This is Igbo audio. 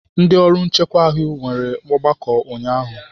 Ndị ọrụ nchekwa ahụ nwere ọgbakọ ụnyahụ.